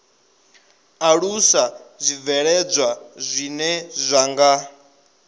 alusa zwibveledzwa zwine zwa nga